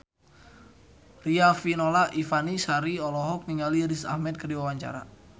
Riafinola Ifani Sari olohok ningali Riz Ahmed keur diwawancara